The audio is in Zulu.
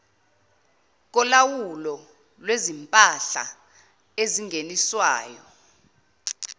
kolawulo lwezimpahla ezingeniswayo